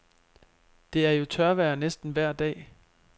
Det er jo tørvejr næsten vejr dag.